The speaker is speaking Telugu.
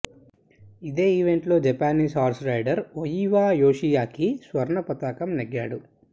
ఇదే ఈవెంట్లో Japanese horse rider Oiwa Yoshiaki స్వర్ణ పతకం నెగ్గాడు